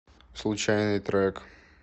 случайный трек